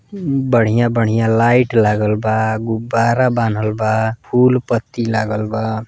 बढ़िया बढ़िया लाइट लागल बा। गुब्बारा बान्हल बा। फूल पत्ती लागल बा।